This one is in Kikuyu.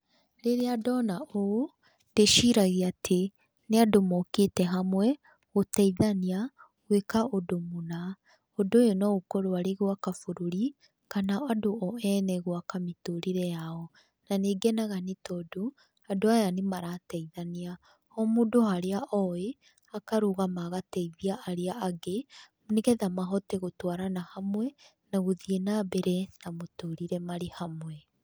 Rĩrĩa ndona ũũ ndĩciragia atĩ, nĩ andũ mokĩte hamwe, gũteithania gwĩka ũndũ mũna, ũndũ ũyũ no akorwo arĩ gwaka bũrũri kana andũ o ene gwaka mĩtũrĩre yao, na nĩ ngenaga nĩ tondũ andũ aya nĩ marateithania, o mũndũ harĩa oĩ akarũgama agateithia arĩa angĩ, nĩgetha mahote gũtwarana hamwe, na gũthiĩ na mbere na mũtũrĩre marĩ hamwe.